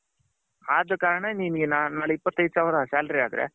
ಅದ ಕಾರಣ ನಿನ್ನಗೆ ನಾನು ನಾಳೆ ಇಪತ್ ಏದು ಸಾವಿರ salary ಆದ್ರೆ.